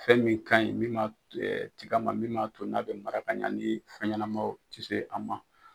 Fɛn min ka ɲi min b'a tigɛ ma min b'a to n'a bɛ mara ka ɲa ni fɛn ɲɛnanamaw ti se a ma.